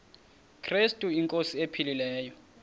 krestu inkosi ephilileyo